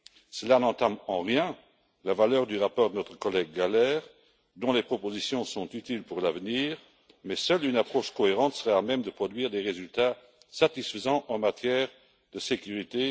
Cela n'entame en rien la valeur du rapport de notre collègue Gahler, dont les propositions sont utiles pour l'avenir, mais seule une approche cohérente serait à même de produire des résultats satisfaisants en matière de sécurité.